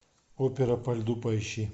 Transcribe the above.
опера по льду поищи